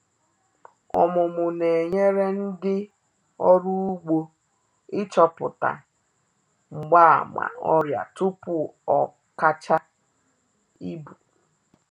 Ọmụmụ na-enyere ndị ọrụ ugbo ịchọpụta mgbaàmà ọrịa tupu o kacha ibu